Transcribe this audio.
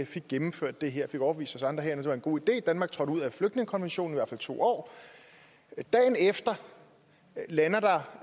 fik gennemført det her og fik overbevist os andre herinde det var en god idé at danmark trådte ud af flygtningekonventionen i to år dagen efter lander der